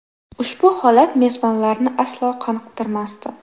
Ushbu holat mezbonlarni aslo qoniqtirmasdi.